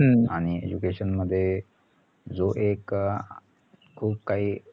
education मध्ये जो एक अं खूप काही